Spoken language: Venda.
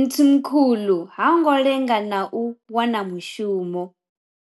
Mthimkhulu ha ngo lenga na u wana mushumo.